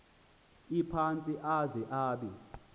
ephantsi aze abe